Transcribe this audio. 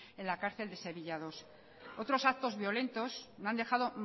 en la cárcel de sevilla segundo otros actos violentos no han dejado